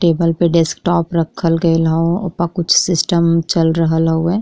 Table पे desktop रखल गइल हउ। ओपे कुछ सिस्टम चल रहल हउवे।